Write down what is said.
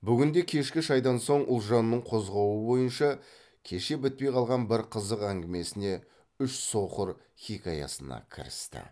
бүгін де кешкі шайдан соң ұлжанның қозғауы бойынша кеше бітпей қалған бір қызық әңгімесіне үш соқыр хикаясына кірісті